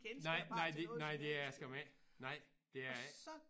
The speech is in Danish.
Nej nej det nej det er det skam ikke nej det er det ikke